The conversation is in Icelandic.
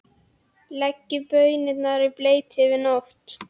Leggið baunirnar í bleyti yfir nótt.